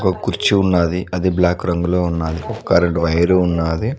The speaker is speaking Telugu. ఓ కుర్చీ ఉన్నాది అది బ్లాక్ రంగులో ఉన్నాది ఒక్క కరెంట్ వైరు ఉన్నాది.